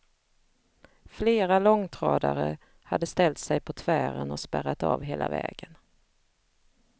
Flera långtradare hade ställt sig på tvären och spärrat av hela vägen.